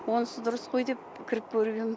онсыз дұрыс қой деп кіріп көргем